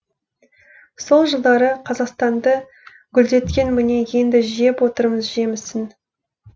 сол жылдары қазақстанды гүлдеткен міне енді жеп отырмыз жемісін